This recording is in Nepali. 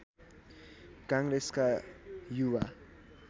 काङ्ग्रेसका युवा